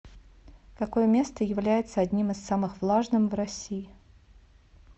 какое место является одним из самых влажным в россии